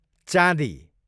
चाँदी